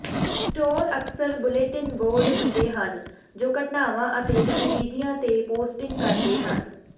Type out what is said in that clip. store ਅਕਸਰ bulletin board ਹੁੰਦੇ ਹਨ ਜੋ ਘਟਨਾਵਾਂ ਅਤੇ ਗਤੀਵਿਧੀਆਂ ਤੇ ਪੋਸਟਿੰਗ ਕਰਦੇ ਹਨ